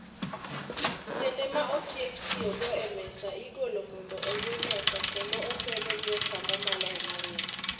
Sende ma otiek tiyo go e mesa igolo mondo oywe mesa kendo opedhe gi otambaa maler marieny